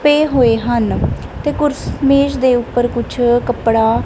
ਪਏ ਹੋਏ ਹਨ ਤੇ ਕੁਰਸ ਮੇਜ ਦੇ ਉੱਪਰ ਕੁਝ ਕੱਪੜਾ।